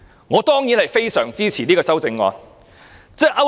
我當然會大力支持這項修正案。